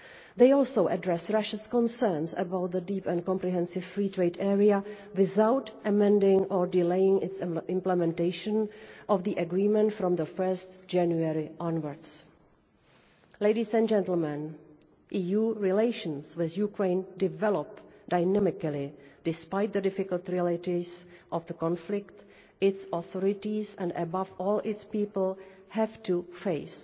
They are also addressing Russia's concerns about the Deep and Comprehensive Free Trade Area without amending or delaying the implementation of the agreement from 1 January onwards. EU relations with Ukraine are developing dynamically despite the difficult realities of the conflict which its authorities and, above all, its people have to face.